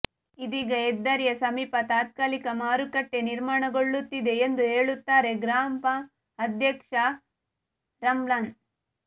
ಇದೀಗ ಹೆದ್ದಾರಿಯ ಸಮೀಪ ತಾತ್ಕಾಲಿಕ ಮಾರುಕಟ್ಟೆ ನಿರ್ಮಾಣಗೊಳ್ಳುತ್ತಿದೆ ಎಂದು ಹೇಳುತ್ತಾರೆ ಗ್ರಾಪಂ ಅಧ್ಯಕ್ಷ ರಮ್ಲಾನ್